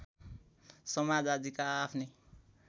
समाज आदिका आआफ्नै